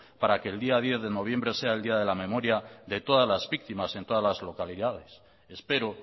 para que el día diez de noviembre sea el día de memoria de todas las víctimas en todas las localidades espero